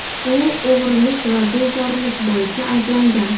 U o‘g‘rilik va bezorilik bo‘yicha ayblangan.